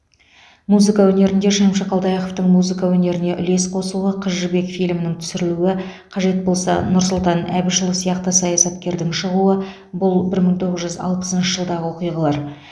музыка өнерінде шәмші қалдаяқовтың музыка өнеріне үлес қосуы қыз жібек фильмінің түсірілуі қажет болса нұрсұлтан әбішұлы сияқты саясаткердің шығуы бұл бір мың тоғыз жүз алпысыншы жылдағы оқиғалар